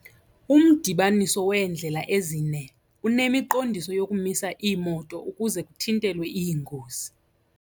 Umdibaniso weendlela ezine unemiqondiso yokumisa iimoto ukuze kuthintelwe iingozi.